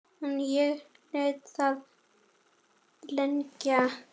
En ég lét það liggja.